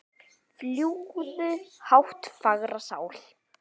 Fljúgðu hátt fagra sál.